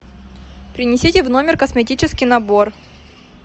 принесите в номер косметический набор